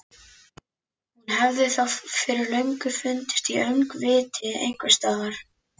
Hún hefði þá fyrir löngu fundist í öngviti einhvers staðar.